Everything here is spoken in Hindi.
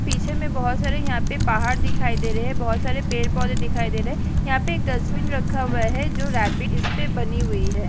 पीछे में बहुत सारे यहाँ पे पहाड़ दिखाई दे रहे हैं बहुत सारे पेड़-पौधे दिखाई दे हैं यहाँ पे एक डस्टबिन रखा हुआ है जो रैबिट इस्पे बनी हुई है।